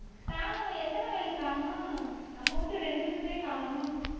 சாணம் எத்தனை வயல் காணும் நம்ம வீட்டு ரெண்டு இதுக்குத்தான் காணும்